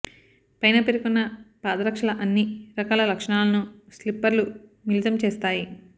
పైన పేర్కొన్న పాదరక్షల అన్ని రకాల లక్షణాలను స్నిపర్లు మిళితం చేస్తాయి